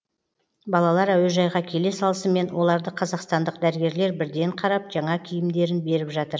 балалар әуежайға келе салысымен оларды қазақстандық дәрігерлер бірден қарап жаңа киімдерін беріп жатыр